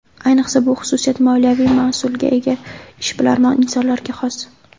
Ayniqsa bu xususiyat moliyaviy mas’uliyatga ega, ishbilarmon insonlarga xos.